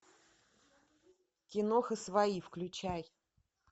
киноха свои включай